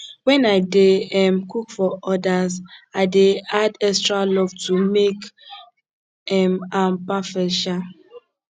when i dey um cook for others i dey add extra love to make um am perfect um